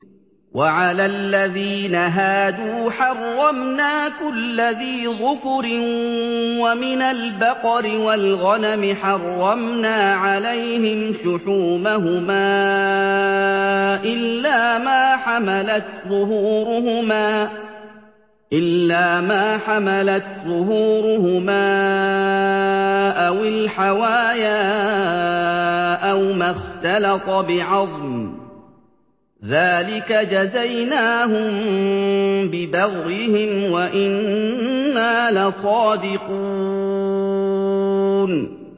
وَعَلَى الَّذِينَ هَادُوا حَرَّمْنَا كُلَّ ذِي ظُفُرٍ ۖ وَمِنَ الْبَقَرِ وَالْغَنَمِ حَرَّمْنَا عَلَيْهِمْ شُحُومَهُمَا إِلَّا مَا حَمَلَتْ ظُهُورُهُمَا أَوِ الْحَوَايَا أَوْ مَا اخْتَلَطَ بِعَظْمٍ ۚ ذَٰلِكَ جَزَيْنَاهُم بِبَغْيِهِمْ ۖ وَإِنَّا لَصَادِقُونَ